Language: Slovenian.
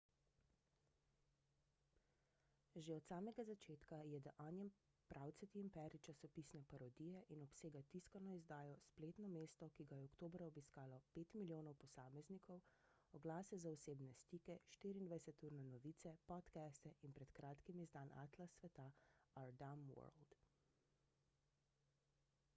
že od samega začetka je the onion pravcati imperij časopisne parodije in obsega tiskano izdajo spletno mesto ki ga je oktobra obiskalo 5.000.000 posameznikov oglase za osebne stike 24-urne novice podcaste in pred kratkim izdan atlas sveta our dumb world